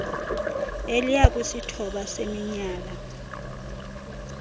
eliya kwisithoba seminyala